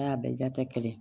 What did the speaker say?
N'a bɛɛ ja tɛ kelen ye